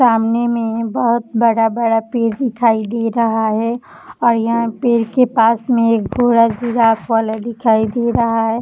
सामने में बहुत बड़ा-बड़ा पेड़ दिखाई दे रहा है और यहाँ पेड़ के पास में एक घोड़ा जिराफ़ वाला दिखाई दे रहा है।